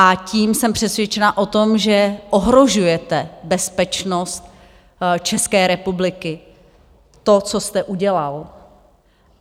A tím jsem přesvědčena o tom, že ohrožujete bezpečnost České republiky tím, co jste udělal.